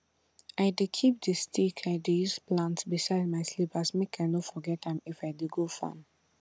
i dey keep di stick i dey use plant beside my slippers make i no forget am if i dey go farm